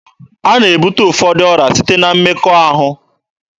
A na-ebute ụfọdụ ọrịa site na mmekọahụ.